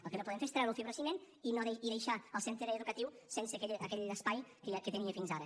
el que no podem fer és treure el fibrociment i deixar el centre educatiu sense aquell espai que tenia fins ara